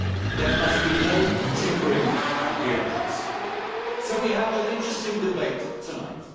There must be no tinkering at the edges. So we have an interesting debate tonight.